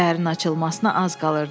Səhərin açılmasına az qalırdı.